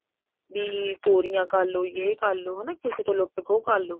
ਵੀ ਚੋਰੀਆਂ ਕਰਲੋ ਏ ਕਰਲੋ ਕਿਸੇ ਤੋਂ ਲੁੱਟ ਖੋ ਕਰਲੋ